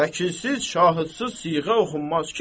Vəkilsiz, şahidsiz siğə oxunmaz ki.